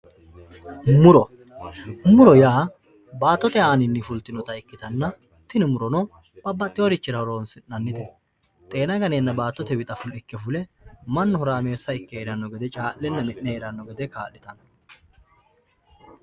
Muro, muro yaa baatote anini fulitinota ikkitanna tini murono babaxiworichira horonsinanite xeena ganeenna battote wixxa ikke fule manu horameessa ikke heeranno gede caa'lenna mi'ne heeranno gede kaa'litano